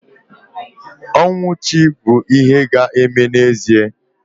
Ọnwụ chi bụ ihe ga-eme n'ezie